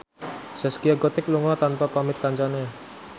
Zaskia Gotik lunga tanpa pamit kancane